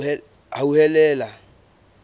hauhelele